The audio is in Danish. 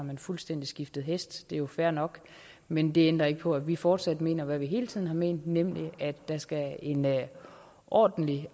man fuldstændig skiftet hest det er jo fair nok men det ændrer ikke på at vi fortsat mener hvad vi hele tiden har ment nemlig at der skal en ordentlig